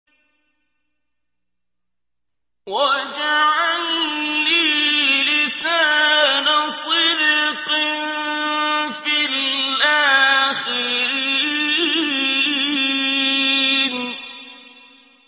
وَاجْعَل لِّي لِسَانَ صِدْقٍ فِي الْآخِرِينَ